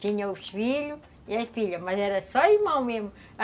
Tinha os filhos e as filhas, mas era só irmão mesmo.